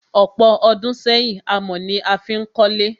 Ọ̀pọ̀ ọdún sẹ́yìn, amọ̀ ni a fí n kólé.